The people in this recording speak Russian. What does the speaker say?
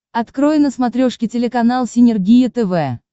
открой на смотрешке телеканал синергия тв